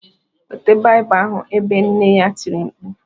"Weta Bible ahụ ebe ” nne ya tiri mkpu